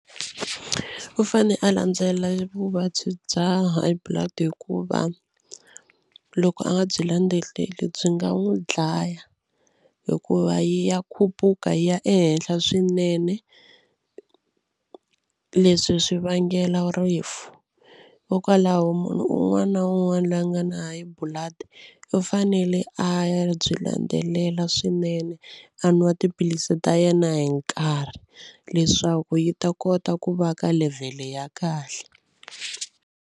U fane a landzelela vuvabyi bya high blood hikuva loko a nga byi landzeleli byi nga n'wi dlaya hikuva ya khuphuka yi ya ehenhla swinene leswi swi vangela rifu hikokwalaho munhu un'wana na un'wana loyi a nga na high blood u fanele a ya byi landzelela swinene a nwa tiphilisi ta yena hi nkarhi leswaku yi ta kota ku va ka level ya kahle.